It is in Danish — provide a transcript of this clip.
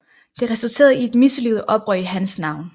Det resulterede i et mislykket oprør i hans navn